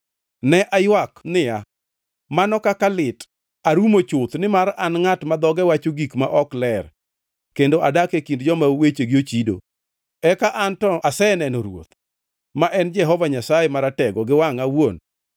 Ne aywak niya, “mano kaka lit! Arumo chuth! Nimar an ngʼat ma dhoge wacho gik ma ok ler kendo adak e kind joma wechegi ochido, eka an to aseneno Ruoth, ma en Jehova Nyasaye Maratego gi wangʼa awuon.”